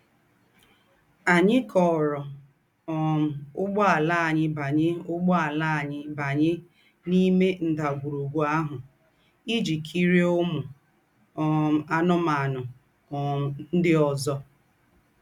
Ànyì kọ̀ọ́rọ̀ um úgbọ̀àlà ànyì bányè úgbọ̀àlà ànyì bányè n’íme ńdàgwùrùgwù àhụ̀ íjí kírie úmù um ànù́mànù um ńdị́ ózọ.